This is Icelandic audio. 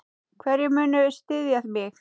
Hverjir munu styðja mig?